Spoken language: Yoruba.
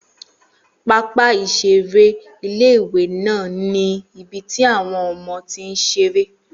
Pápá ìseré ilé-ìwé náà ní ibi tí àwọn ọmọ ti ń seré